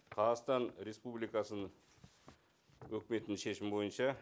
қазақстан республикасының өкіметінің шешімі бойынша